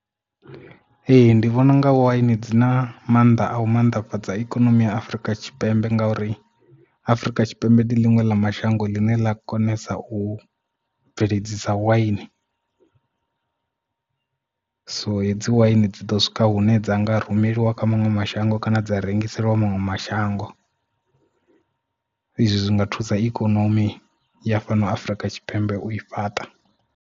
Ee ndi vhona unga waini dzi na mannḓa a u mannḓafhadza ikonomi ya Afurika Tshipembe ngauri Afrika Tshipembe ndi ḽiṅwe ḽa mashango ḽine ḽa konesa u bveledzisa waini so hedzi waini dzi ḓo swika hune dza nga rumeliwa kha maṅwe mashango kana dza rengiseliwa maṅwe mashango izwi zwi nga thusa ikonomi ya fhano Afurika Tshipembe u i fhaṱa.